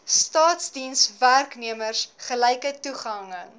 staatsdienswerknemers gelyke toegang